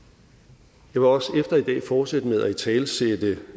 jeg vil også efter i dag fortsætte med at italesætte